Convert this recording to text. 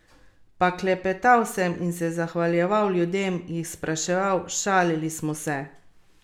Pa klepetal sem in se zahvaljeval ljudem, jih spraševal, šalili smo se.